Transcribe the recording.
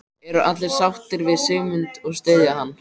Eru allir sáttir við Sigmund og styðja hann?